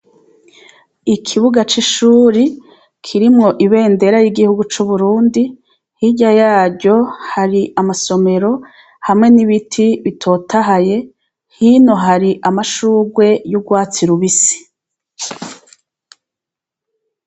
Ikubuga c' ishuri kirimwo ibendera y' igihugu c' Uburundi hirya yaryo hari amasomero hamwe n' ibiti bitotahaye hino hari amashugwe y' ugwatsi rubisi.